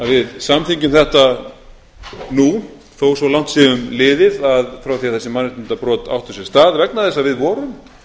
við samþykkjum þetta nú þó svo langt sé um liðið frá því að þessi mannréttindabrot áttu sér stað vegna þess að við vorum